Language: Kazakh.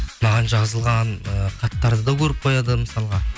маған жазылған ыыы хаттарды да көріп қояды мысалға